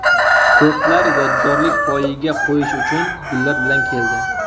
Ko‘plar yodgorlik poyiga qo‘yish uchun gullar bilan keldi.